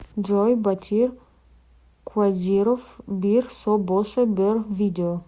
джой ботир кодиров бир боса бер видео